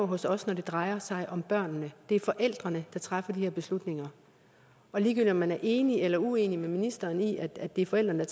hos os når det drejer sig om børnene det er forældrene der træffer de her beslutninger og ligegyldigt om man er enig eller uenig med ministeren i at det er forældrene